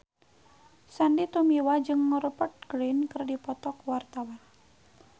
Sandy Tumiwa jeung Rupert Grin keur dipoto ku wartawan